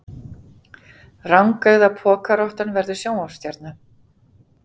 Rangeygða pokarottan verður sjónvarpsstjarna